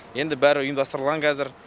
енді бәрі ұйымдастырылған қазір